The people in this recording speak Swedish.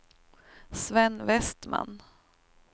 Sven Vestman